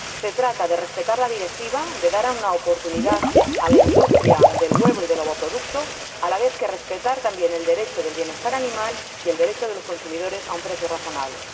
Se trata de respetar la Directiva, de dar una oportunidad a la industria del huevo y del ovoproducto, así como de respetar también el derecho del bienestar animal y el derecho de los consumidores a un precio razonable.